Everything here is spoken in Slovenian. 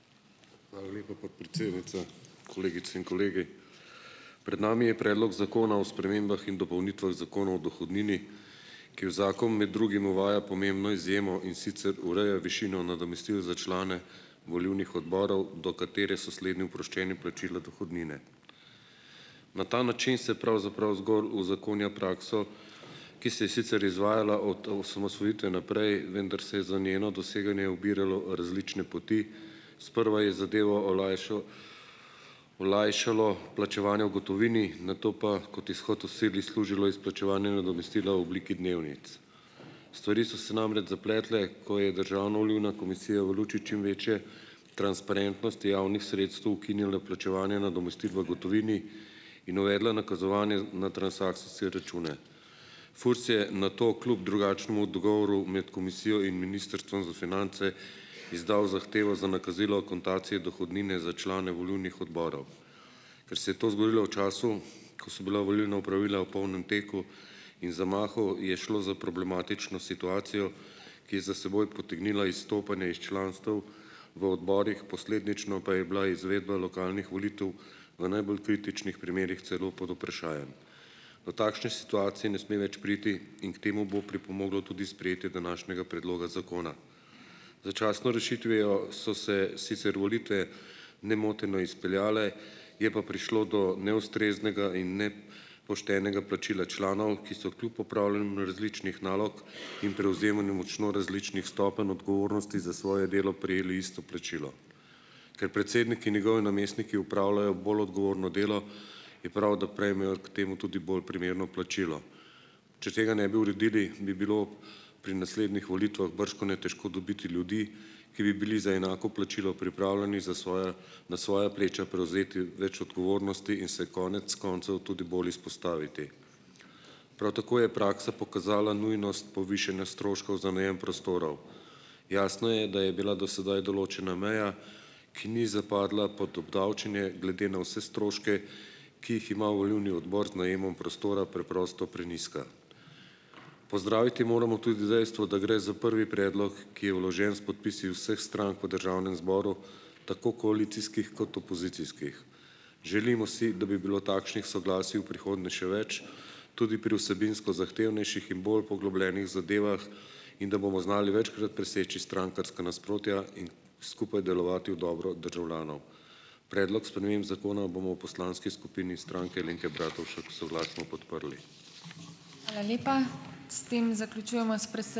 Hvala lepa, podpredsednica. Kolegice in kolegi! Pred nami je predlog zakona o spremembah in dopolnitvah Zakona o dohodnini, ki v zakom med drugim uvaja pomembno izjemo, in sicer ureja višino nadomestil za člane volilnih odborov, do katere so slednji oproščeni plačila dohodnine. Na ta način se pravzaprav zgolj uzakonja prakso, ki se je sicer izvajala od osamosvojitve naprej, vendar se je za njeno doseganje ubiralo različne poti. Sprva je zadevo olajšalo plačevanje v gotovini, nato pa kot izhod v sili služilo izplačevanje nadomestila v obliki dnevnic, stvari so se namreč zapletle, ko je Državna volilna komisija v luči čim večje transparentnosti javnih sredstev ukinila plačevanje nadomestil v gotovini in uvedla nakazovanje na transakcijske račune. FURS je nato kljub drugačnemu dogovoru med komisijo in Ministrstvom za finance izdal zahtevo za nakazilo akontacije dohodnine za člane volilnih odborov. Kar se je to zgodilo v času, ko so bila volilna opravila v polnem teku in zamahu, je šlo za problematično situacijo, ki je za seboj potegnila izstopanje iz članstev v odborih, posledično pa je bila izvedba lokalnih volitev v najbolj kritičnih primerih celo pod vprašajem. Do takšne situacije ne sme več priti in k temu bo pripomoglo tudi sprejetje današnjega predloga zakona. Začasno rešitvijo so se sicer volitve nemoteno izpeljale, je pa prišlo do neustreznega in plačila članov, ki so kljub opravljanju različnih nalog in prevzemanju močno različnih stopenj odgovornosti za svoje delo prejeli isto plačilo. Ker predsednik in njegovi namestniki opravljajo bolj odgovorno delo, je prav, da prejmejo k temu tudi bolj primerno plačilo. Če tega ne bi uredili, bi bilo pri naslednjih volitvah bržkone težko dobiti ljudi, ki bi bili za enako plačilo pripravljeni za svoja na svoja pleča prevzeti več odgovornosti in se konec koncev tudi bolj izpostaviti. Prav tako je praksa pokazala nujnost povišanja stroškov za najem prostorov. Jasno je, da je bila do sedaj določena meja, ki ni zapadla pod obdavčenje, glede na vse stroške, ki jih ima volilni odbor z najemom prostora, preprosto prenizka. Pozdraviti moramo tudi dejstvo, da gre za prvi predlog, ki je vložen s podpisi vseh strank v državnem zboru, tako koalicijskih kot opozicijskih. Želimo si, da bi bilo takšnih soglasij v prihodnje še več, tudi pri vsebinsko zahtevnejših in bolj poglobljenih zadevah in da bomo znali večkrat preseči strankarska nasprotja in skupaj delovati v dobro državljanov. Predlog sprememb zakona bomo v poslanski skupini Stranke Alenke Bratušek soglasno podprli.